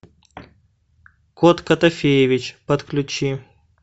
кот котофеевич подключи